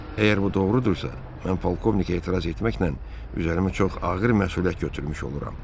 Əgər bu doğrudursa, mən polkovnikə etiraz etməklə üzərimə çox ağır məsuliyyət götürmüş oluram.